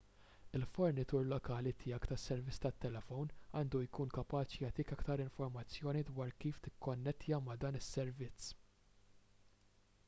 il-fornitur lokali tiegħek tas-servizz tat-telefon għandu jkun kapaċi jagħtik aktar informazzjoni dwar kif tikkonnettja ma' dan is-servizz